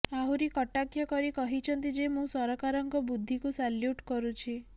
ଆହୁରି କଟାକ୍ଷ କରି କହିଛନ୍ତି ଯେ ମୁଁ ସରକାରଙ୍କ ବୁଦ୍ଧିକୁ ସାଲ୍ୟୁଟ୍ କରୁଛି